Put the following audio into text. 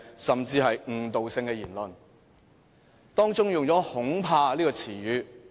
司長在發言當中，用了"恐怕"這個詞語。